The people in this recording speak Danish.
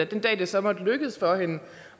den dag det så måtte lykkes for hende